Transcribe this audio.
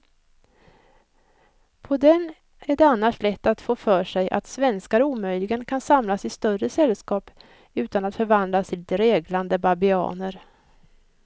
På den är det annars lätt att få för sig att svenskar omöjligen kan samlas i större sällskap utan att förvandlas till dreglande babianer.